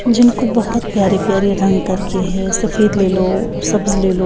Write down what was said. जिनको बहुत प्यारे-प्यारे रंग करके है सफ़ेद ले लो ओ सब्ज़ ले लो।